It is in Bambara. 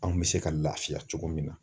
Anw bɛ se ka lafiya cogo min na